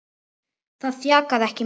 Það þjakaði ekki Magnús.